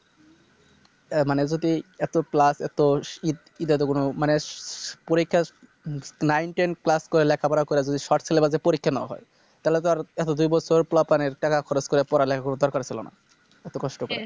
অ্যাঁ মানে যদি এত Plus এত এ এটাতো কোন মানে পরীক্ষার Nine ten class করে লেখাপড়া করে যদি Short syllabus এ পরীক্ষা না হয় তাহলে তো আর এতো দুই বছর পোলাপাইনের টাকা খরচ করে পড়ালেখা করার কোন দরকার ছিল না এত কষ্ট করে